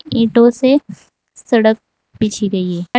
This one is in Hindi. ईंटों से सड़क बिछी गई है।